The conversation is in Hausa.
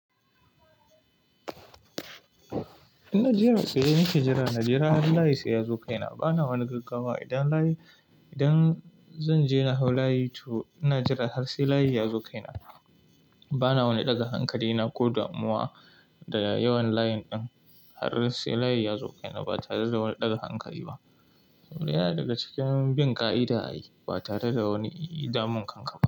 In na je a tsaye nake jira, na jira har layi sai ya zo kaina. Bana wani gaggawa idan layi-- idan zan je na hau layi to, ina jira har sai layi ya zo kaina. Bana wani ɗaga hankali na ko damuwa da yawan layin ɗin har sai layi ya zo kaina ba tare da wani ɗaga hankali ba. Yana daga cikin bin ƙa'ida ai ba tare da wani damun kanka ba.